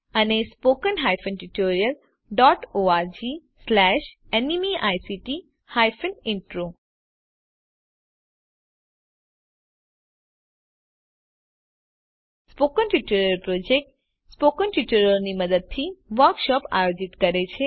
spoken tutorial project spoken ટ્યુટોરીયલોની મદદથી workshop આયોજિત કરે છે